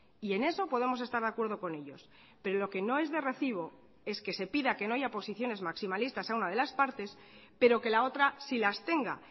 y en eso podemos estar de acuerdo con ellos pero lo que no es de recibo es que se pida que no haya posiciones maximalistas a una de las partes pero que la otras sí las tenga